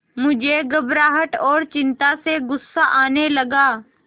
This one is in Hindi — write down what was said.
मुझे घबराहट और चिंता से गुस्सा आने लगा